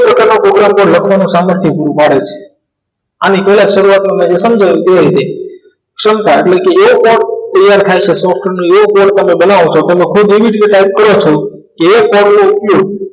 program લખવાનું સામર્થથી જીવ બાળે છે આની કયા શરૂઆત સમતાએટલે કે એક તૈયાર થઈ છે software નો એક બનાવો છો એવી રીતે type કરો છો એકા સ્તળ નો ઉપયોગ